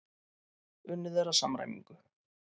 Unnið er að samræmingu.